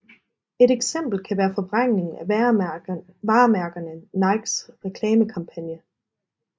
Et eksempel kan være forvrængingen af varemærkerne Nikes reklamekampangne